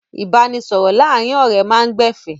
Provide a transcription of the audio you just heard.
Ìbáranisọ̀rọ̀ láàárin ọ̀rẹ́ máa ń gbẹ̀fẹ̀.